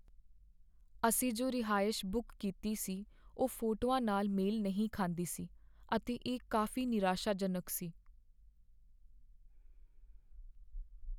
ਅਸੀਂ ਜੋ ਰਿਹਾਇਸ਼ ਬੁੱਕ ਕੀਤੀ ਸੀ ਉਹ ਫੋਟੋਆਂ ਨਾਲ ਮੇਲ ਨਹੀਂ ਖਾਂਦੀ ਸੀ, ਅਤੇ ਇਹ ਕਾਫ਼ੀ ਨਿਰਾਸ਼ਾਜਨਕ ਸੀ।